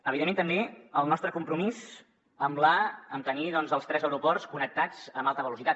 evidentment també el nostre compromís amb tenir els tres aeroports connectats amb alta velocitat